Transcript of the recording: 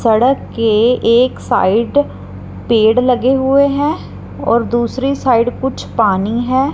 सड़क के एक साइड पेड़ लगे हुए है और दूसरी साइड कुछ पानी है।